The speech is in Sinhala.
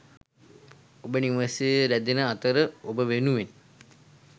ඔබ නිවසේ ‍රැදෙන අතර ඔබ වෙනුවෙන් ...